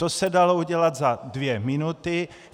To se dalo udělat za dvě minuty.